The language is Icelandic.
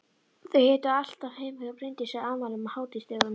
Þau hittust alltaf heima hjá Bryndísi á afmælum og hátíðisdögum.